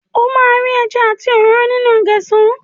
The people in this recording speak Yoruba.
O máa ri ẹja àti òróró nínú géṣà.